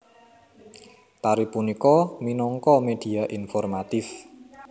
Tari punika minangka media informatif